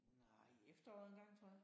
Nej i efteråret engang tror jeg